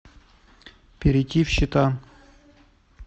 перейти в счета